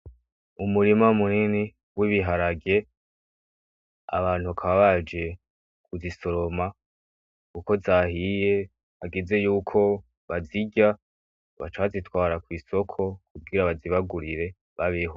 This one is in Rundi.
Umurima munini w'ibiharage. Abantu bakaba baje kuzisoroma, kuko zahiye hageze yuko bazirya bagaca bazitwara kw'isoko kugira bazibagurire babeho.